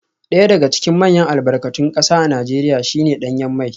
Daya daga cikin manyan albarkatun kasa a Najeriya shi ne danyen mai